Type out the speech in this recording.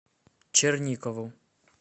черникову